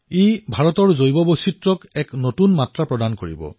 ই ভাৰতৰ জৈৱ বৈচিত্ৰতাক এক নতুন ৰূপ প্ৰদান কৰিব